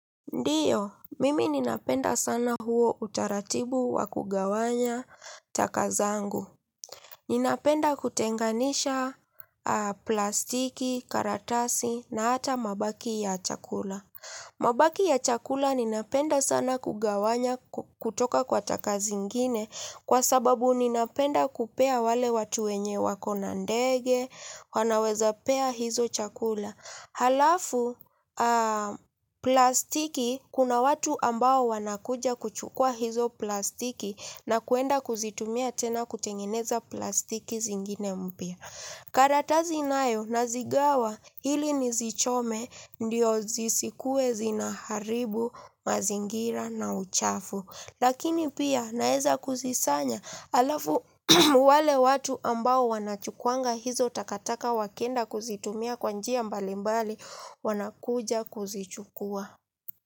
Ndiyo, mimi ninapenda sana huo utaratibu wa kugawanya taka zangu. Ninapenda kutenganisha plastiki, karatasi na hata mabaki ya chakula. Mabaki ya chakula ninapenda sana kugawanya kutoka kwa taka zingine kwa sababu ninapenda kupea wale watu wenye wako na ndege, wanawezapea hizo chakula. Halafu plastiki kuna watu ambao wanakuja kuchukua hizo plastiki na kwenda kuzitumia tena kutengeneza plastiki zingine mpya. Karatasi nayo nazigawa ili nizichome ndio zisikuwe zinaharibu mazingira na uchafu lakini pia naweza kuzikusanya halafu wale watu ambao wanachukuanga hizo takataka wakienda kuzitumia kwa njia mbalimbali wanakuja kuzichukua.